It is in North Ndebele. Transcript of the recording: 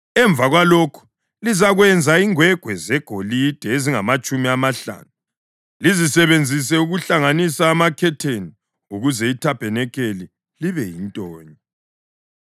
Emva kwalokho lizakwenza ingwegwe zegolide ezingamatshumi amahlanu, lizisebenzise ukuhlanganisa amakhetheni ukuze ithabanikeli libe yintonye.